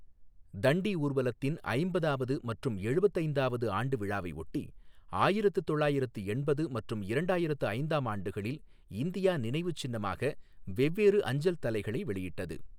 தண்டி ஊர்வலத்தின் ஐம்பதாவது மற்றும் எழுபத்து ஐந்தாவது ஆண்டு விழாவையொட்டி, ஆயிரத்து தொள்ளாயிரத்து எண்பது மற்றும் இரண்டாயிரத்து ஐந்தாம் ஆண்டுகளில் இந்தியா நினைவுச் சின்னமாக வெவ்வேறு அஞ்சல் தலைகளை வெளியிட்டது.